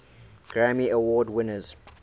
grammy award winners